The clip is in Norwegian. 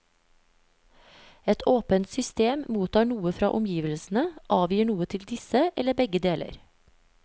Et åpent system mottar noe fra omgivelsene, avgir noe til disse, eller begge deler.